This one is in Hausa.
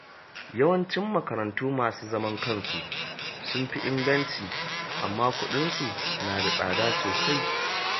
Yawancin makarantu masu zaman kansu sun fi inganci, amma kuɗinsu na da tsada sosai.